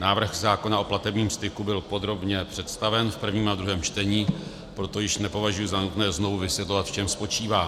Návrh zákona o platebním styku byl podrobně představen v prvním a druhém čtení, proto již nepovažuji za nutné znovu vysvětlovat, v čem spočívá.